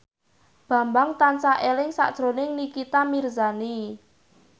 Bambang tansah eling sakjroning Nikita Mirzani